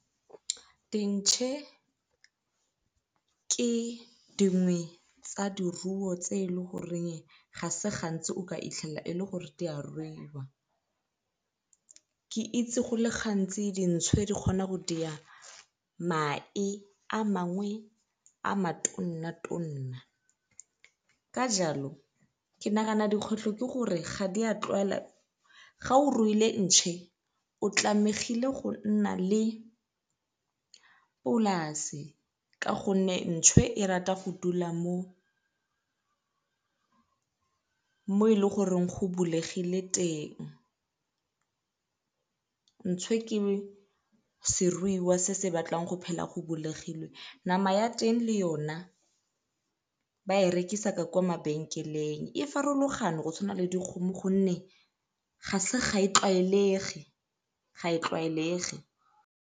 Dintšhe ke dingwe tsa diruo tse e le goreng ga se gantsi o ka e le gore di a ruiwa. Ke itse go le gantsi dintšhwe di kgona go mae a mangwe a ka jalo ke nagana dikgoreletso ke gore ga di a tlwaela, ga o ruile ntšhe o tlamegile go nna le polase ka gonne ntšhwe e rata go dula mo e leng gore go bulegile teng. Ntšhwe ke seruiwa se se batlang go phela go bulegilwe, nama ya teng le yona ba e rekisa ka kwa mabenkeleng. E farologane go tshwana le gonne ga se ga e tlwaege ga e tlwaelege.